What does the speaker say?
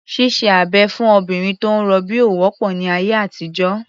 Ṣíṣe abẹ̀ fún obìnrin tó ń rọbí ò wọ́pọ̀ ní ayé àtijọ́.